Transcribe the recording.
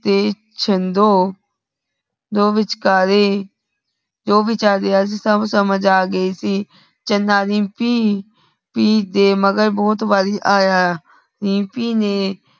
ਦੇ ਛਿੰਦੋ ਦੋ ਵਿਚਕਾਰੇ ਜੋ ਭੀ ਚਲ ਰਿਯਾ ਸੀ ਸਭ ਸਮਜ ਆ ਗਯਾ ਸੀ। ਚੰਦਾ ਰੀਮਪੀ ਪੀ ਜੇ ਮਗਰ ਭੋਤ ਵਾਰੀ ਆਯਾ ਆ। ਰੀਮਪੀ ਨੇ